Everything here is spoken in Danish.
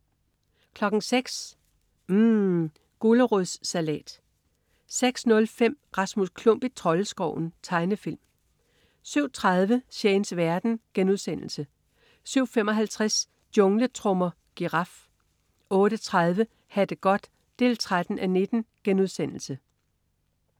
06.00 UMM. Gulerodssalat 06.05 Rasmus Klump i Troldeskoven. Tegnefilm 07.30 Shanes verden* 07.55 Jungletrommer. Giraf 08.30 Ha' det godt 13:19*